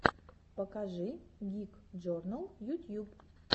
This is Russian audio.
покажи гик джорнал ютьюб